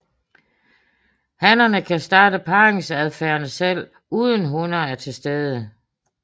Hannerne kan starte parringsadfærden selv uden hunner er til stede